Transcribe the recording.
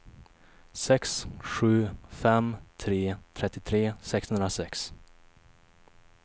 sex sju fem tre trettiotre sexhundrasex